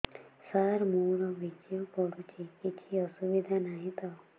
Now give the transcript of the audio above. ସାର ମୋର ବୀର୍ଯ୍ୟ ପଡୁଛି କିଛି ଅସୁବିଧା ନାହିଁ ତ